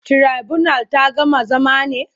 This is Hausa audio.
Tirabunal ta gama zama ne?